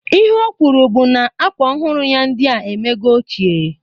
Ihe o kwuru bụ na akwa ọhụrụ ya ndịa emego ochie